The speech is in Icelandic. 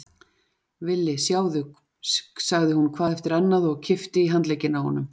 Villi, sjáðu, sagði hún hvað eftir annað og kippti í handlegginn á honum.